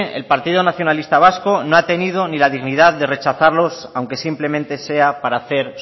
el partido nacionalista vasco no ha tenido la dignidad de rechazarlos aunque simplemente sea para hacer